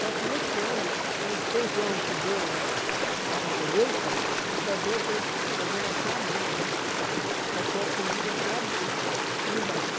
Só que esse ano o feijão que deu na na colheita só deu para eles fazerem até abril, para ter a comida até abril e o resto.